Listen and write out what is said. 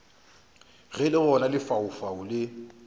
ge le gona lefaufau le